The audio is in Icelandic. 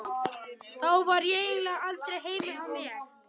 Þá var ég eiginlega aldrei heima hjá mér.